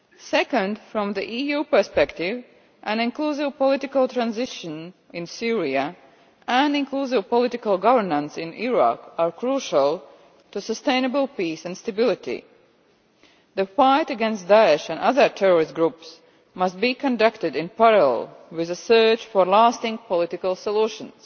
Secondly, from the EU perspective, an inclusive political transition in Syria and inclusive political governance in Iraq are crucial to sustainable peace and stability the fight against Daesh and other terrorist groups must be conducted in parallel with the search for lasting political solutions.